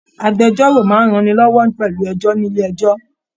Agbẹ̀jọ́ro máa n rán ni lọwọ pẹlú ẹjọ nílé ẹjọ́.